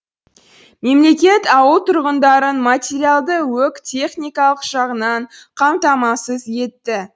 мемлекет ауыл тұрғындарын материалды өқ техникалық жағынан қамтамасыз етті